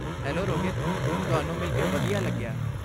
Hello Rohit, ਤੁਹਾਨੂੰ ਮਿਲ ਕੇ ਵਧੀਆ ਲੱਗਿਆ।